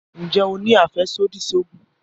Nje o ni afẹsodi si oogun?